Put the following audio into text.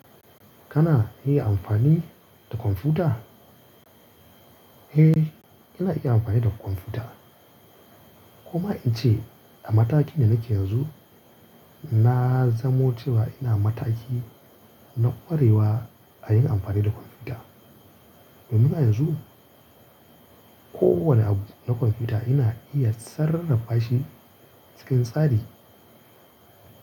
Kana iya amfani da kwamfuta? Eh, ina iya amfani da kwamfuta. Kuma in ce a mataki da nake yanzu, na zamo cewa ina mataki na ƙwarewa a yin amfani da kwamfuta. Domin a yanzu, kowane abu na kwamfuta ina iya sarrafashi cikin tsari.